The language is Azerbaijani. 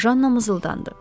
Janna mızıldandı.